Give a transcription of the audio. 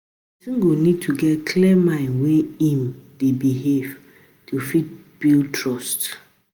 Person go need to get clear mind when im dey behave to fit build trust